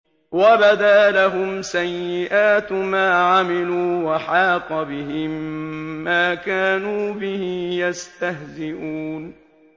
وَبَدَا لَهُمْ سَيِّئَاتُ مَا عَمِلُوا وَحَاقَ بِهِم مَّا كَانُوا بِهِ يَسْتَهْزِئُونَ